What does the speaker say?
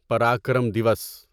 Parakram Diwas